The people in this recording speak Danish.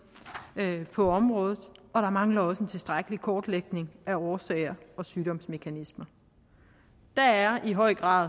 på området og der mangler også en tilstrækkelig kortlægning af årsager og sygdomsmekanismer der er i høj grad